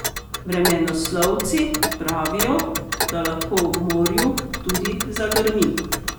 Vremenoslovci pravijo, da lahko ob morju tudi zagrmi.